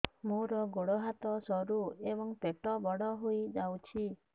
ମୋର ଗୋଡ ହାତ ସରୁ ଏବଂ ପେଟ ବଡ଼ ହୋଇଯାଇଛି